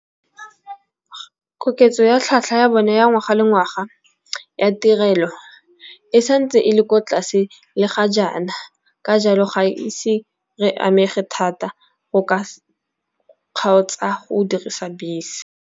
Koketso ya tlhwatlhwa ya bone ya ngwaga le ngwaga ya tirelo e santse e le ko tlase le ga jaana, ka jalo ga ise re amega thata go ka kgaotsa go dirisa bese.